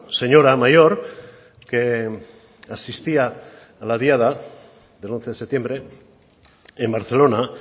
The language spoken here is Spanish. señora mayor que asistía a la diada del once de septiembre en barcelona